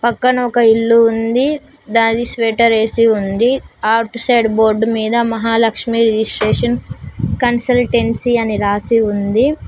పక్కన ఒక ఇల్లు ఉంది దాని స్వేటర్ వేసి ఉంది అటు సైడ్ బోర్డు మీద మహాలక్ష్మి రిజిస్ట్రేషన్ కన్సల్టెన్సీ అని రాసి ఉంది.